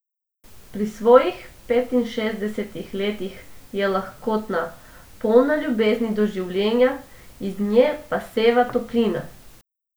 Pri svojih petinšestdesetih letih je lahkotna, polna ljubezni do življenja, iz nje pa seva toplina.